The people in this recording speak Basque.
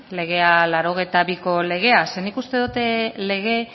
legea laurogeita biko legea zeren nik uste dut lege